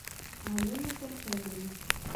алене корчагиной